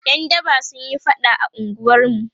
ƴan daba sunyi faɗa a unguwarmu